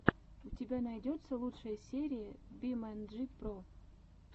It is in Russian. у тебя найдется лучшая серия бимэнджи про